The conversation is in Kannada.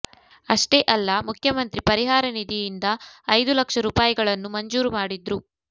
ಅಷ್ಟೇ ಅಲ್ಲ ಮುಖ್ಯಮಂತ್ರಿ ಪರಿಹಾರ ನಿಧಿಯಿಂದ ಐದು ಲಕ್ಷ ರೂಪಾಯಿಗಳನ್ನು ಮಂಜೂರು ಮಾಡಿದ್ರು